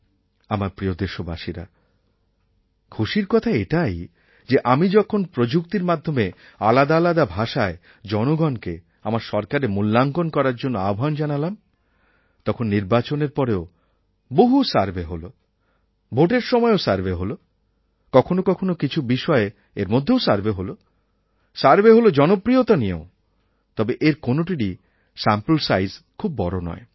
আমার প্রিয় দেশবাসীরা খুশির কথা এটাই যে আমি যখন প্রযুক্তির মাধ্যমে আলাদা আলাদা ভাষায় জনগণকে আমার সরকারের মূল্যাঙ্কণ করার জন্য আহ্বান জানালাম তখন নির্বাচনের পরেও বহু সার্ভে হল ভোটের সময়েও সার্ভে হল কখনও কখনও কিছু বিষয়ে এর মধ্যেও সার্ভে হল সার্ভে হল জনপ্রিয়তা নিয়েও তবে এর কোনটিরই স্যাম্পল সাইজ খুব বড় নয়